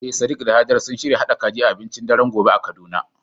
Eh sadiq da hajara sun shirya haɗa kaji a abincin daren gobe a kaduna.